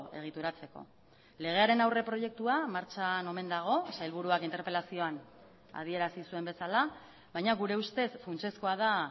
egituratzeko legearen aurreproiektua martxan omen dago sailburuak interpelazioan adierazi zuen bezala baina gure ustez funtsezkoa da